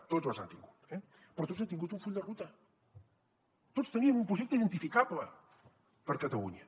tots les han tingut eh però tots han tingut un full de ruta tots tenien un projecte identificable per a catalunya